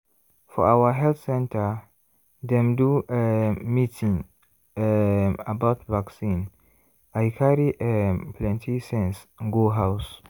for our health center dem do um meeting um about vaccine i carry um plenty sense go house.